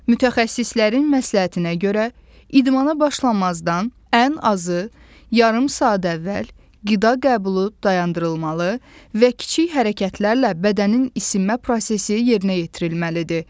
Mütəxəssislərin məsləhətinə görə, idmana başlamazdan ən azı yarım saat əvvəl qida qəbulu dayandırılmalı və kiçik hərəkətlərlə bədənin isinmə prosesi yerinə yetirilməlidir.